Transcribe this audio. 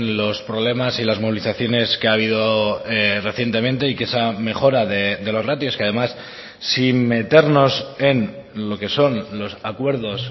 los problemas y las movilizaciones que ha habido recientemente y que esa mejora de los ratios que además sin meternos en lo que son los acuerdos